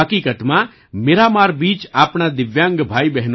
હકિકતમાં Miramar beach આપણા દિવ્યાંગ ભાઈ